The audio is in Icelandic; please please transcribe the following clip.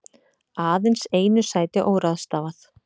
Aðeins einu sæti óráðstafað